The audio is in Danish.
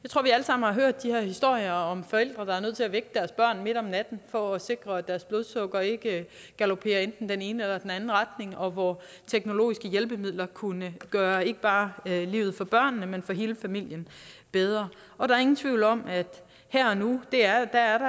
har hørt de her historier om forældre der er nødt til at vække deres børn midt om natten for at sikre at deres blodsukker ikke galoperer i enten den ene eller anden retning og hvor teknologiske hjælpemidler kunne gøre ikke bare livet for børnene men for hele familien bedre og der er ingen tvivl om at her og nu er der